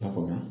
La faamuya